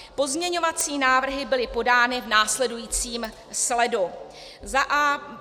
Pozměňovací návrhy byly podány v následujícím sledu: